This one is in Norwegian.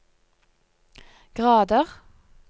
grader